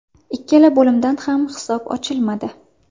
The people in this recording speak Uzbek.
Ikkala bo‘limda ham hisob ochilmadi.